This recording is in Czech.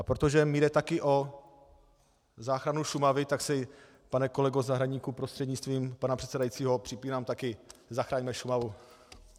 A protože mi jde také o záchranu Šumavy, tak si, pane kolego Zahradníku, prostřednictvím pana předsedajícího, připínám také "Zachraňme Šumavu".